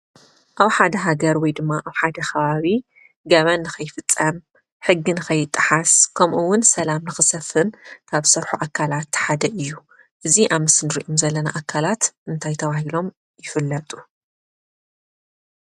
ኣብ ሓደ ሃገር ወይ ድማ ኣብ ሓደ ከባቢ ገበን ንኸይፍፀም፣ ሕጊ ንኸይጠሓስ ከምኡውን ሰላም ንኽሰፍን ካብ ዝሰርሑ ኣካላት ሓደ እዩ፡፡ እዙይ ኣብ ምስሊ ንሪኦም ዘለና ኣካላት እንታይ ተባሂሎም ይፍለጡ?